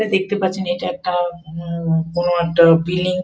দেখতে পাচ্ছেন এটা একটা উম উম বড় একটা বিল্ডিং ।